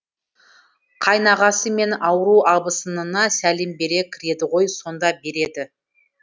қайнағасы мен ауру абысынына сәлем бере кіреді ғой сонда береді